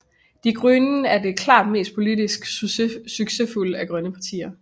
Die Grünen er klart det mest politisk succesfulde af grønne partier